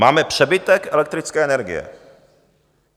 Máme přebytek elektrické energie.